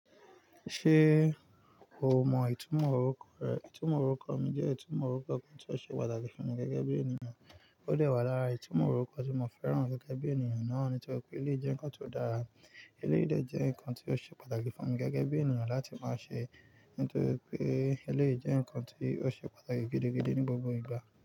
Ṣé o mọ ìtumọ̀ orúkọ rẹ? Ìtumọ̀ orúkọ mi jẹ́ ìtumọ̀ orúkọ kan tí ó ṣe pàtàkì fún mi gẹ́gẹ́ bí ènìyàn. Ó dẹ́wà lára ìtumọ̀ orúkọ tí mo fẹ́ràn gẹ́gẹ́ bí ènìyàn náà ni tóri pé eléyìí jẹ́ nǹkan tó dára. Eléyìí de jẹ́ nǹkan tí ó ṣe pàtàkì fún mi gẹ́gẹ́ bí ènìyàn láti máa ṣe nítorí pé eléyìí jẹ́ nǹkan tí ó ṣe pàtàkì gidigidi ní gbogbo ìgbà.